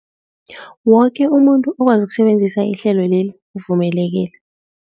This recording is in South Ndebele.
Woke umuntu okwazi ukusebenzisa ihlelo leli uvumelekile.